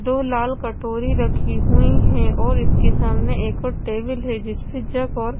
दो लाल कटोरी रखी हुई है और इसके सामने एक और टेबल है जिसमें जग और--